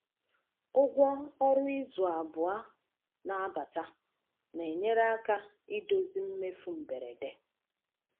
Ụgwọ ọrụ izu abụọ na-abata na-enyere aka idozi mmefu mberede.